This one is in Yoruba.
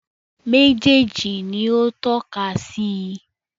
Méjèèjì ni ó tọ́ka sí i